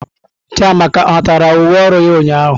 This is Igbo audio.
Chiamaka ọ natara uwe ọrụ ya ụnyahụ?